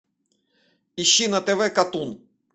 ищи на тв катун